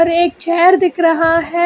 एक चेयर दिख रहा है।